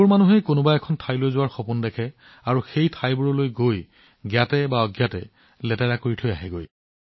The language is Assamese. বহুলোকে গোটেই জীৱন কোনো ঠাইলৈ যোৱাৰ সপোন দেখে কিন্তু যেতিয়া তেওঁলোক তালৈ যায় আৱৰ্জনাবোৰ জ্ঞাতভাৱে বা অজ্ঞাতে বিয়পি পৰে